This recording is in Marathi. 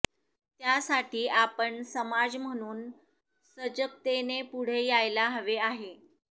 त्यासाठी आपण समाज म्हणून सजगतेने पुढे यायला हवे आहे